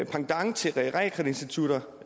pendant til realkreditinstitutter